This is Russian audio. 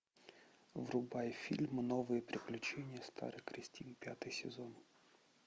врубай фильм новые приключения старой кристин пятый сезон